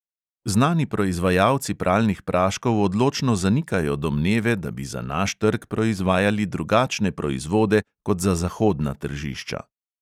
Znani proizvajalci pralnih praškov odločno zanikajo domneve, da bi za naš trg proizvajali drugačne proizvode kot za zahodna tržišča.